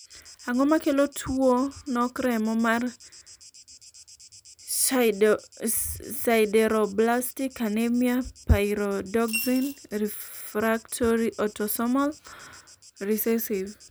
ang'o makelo tuo nok remo mar sideroblastic anemia pyridoxine refractory autosomal recessive ?